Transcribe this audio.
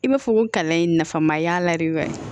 I b'a fɔ ko kalan in nafa ma y'a la de wa